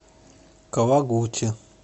кавагути